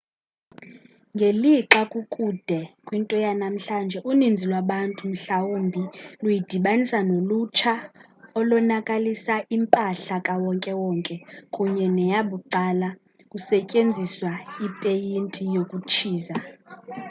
ngelixa kukude kwinto yanamhlanje uninzi lwabantu mhlawumbi luyidibanisa nolutsha olonakalisa impahla kawonke-wonke kunye neyabucala kusetyenziswa ipeyinti yokutshiza